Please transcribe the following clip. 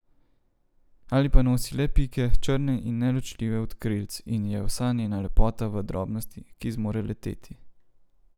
Ali pa nosi le pike, črne in neločljive od krilc, in je vsa njena lepota v drobnosti, ki zmore leteti ...